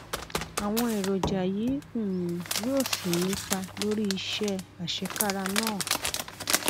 àwọn èròjà yìí um yóò sì nípa lórí iṣẹ àṣekára náà